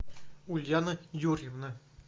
ульяна юрьевна